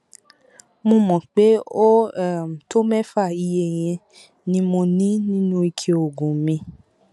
mo mọ pé ó um tó mẹfà iye yẹn ni mo ní nínú ike oògùn mi